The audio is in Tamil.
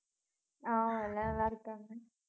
ஆஹ் எல்லாம் நல்லா இருக்காங்க